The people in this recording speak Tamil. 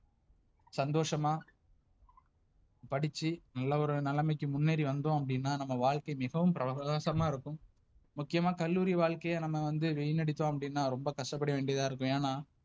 சந்தோஷமா, படிச்சு நல்ல ஒரு நலமைக்கு முன்னேறி வந்தோம் அப்டினா நம்ம வாழ்க்கை மிகவும் பிரகாசமா இருக்கும். முக்கியமா கல்லூரி வாழ்க்கையே நம்ம வந்து விநடிதோனா அப்டினா ரொம்ப கஷ்டப்பட வேண்டியதா இருக்கு ஏன்னா,